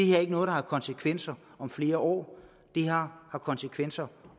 her ikke noget der har konsekvenser om flere år det har konsekvenser